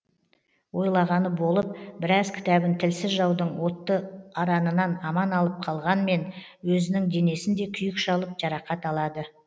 ойлағаны болып біраз кітабын тілсіз жаудың отты аранынан аман алып қалғанмен өзінің денесін де күйік шалып жарақат алады